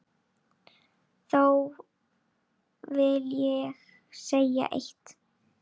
Þó vil ég segja eitt.